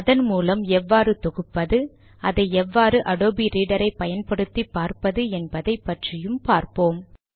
அதன் மூலம் எவ்வாறு தொகுப்பது அதை எவ்வாறு அடோபி ரீடர் ஐ பயன்படுத்தி பார்ப்பது என்பதை பற்றியும் பார்ப்போம்